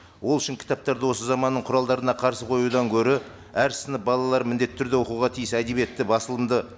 ол үшін кітаптарды осы заманның құралдарына қарсы қоюдан гөрі әр сынып балалары міндетті түрде оқуға тиіс әдебиетті басылымды